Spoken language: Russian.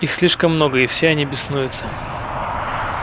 их слишком много и все они беснуются